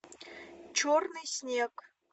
черный снег